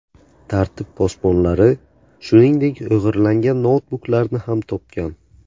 Tartib posbonlari, shuningdek, o‘g‘irlangan noutbuklarni ham topgan.